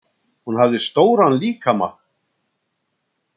Hún hafði stóran líkama.